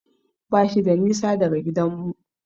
Bashi da nisa daga gidanmu.